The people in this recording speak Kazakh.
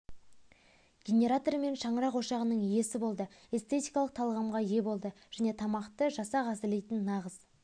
генераторы мен шаңырақ ошағының иесі болды эстетикалық талғамға ие болды және тамақты жасақ әзірлейтін нағыз